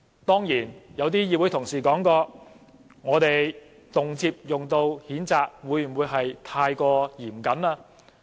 當然，有些議員表示，我們動輒提出譴責，會否過於嚴苛呢？